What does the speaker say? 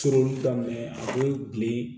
Surun daminɛ a bɛ bilen